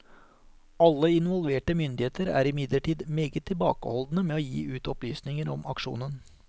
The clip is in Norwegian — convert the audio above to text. Alle involverte myndigheter er imidlertid meget tilbakeholdne med å gi ut opplysninger om aksjonen.